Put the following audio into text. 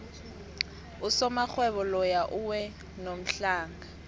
usomarhwebo loya uwe ngomhlana